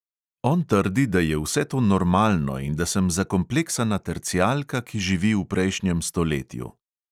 On trdi, da je vse to normalno in da sem zakompleksana tercijalka, ki živi v prejšnjem stoletju.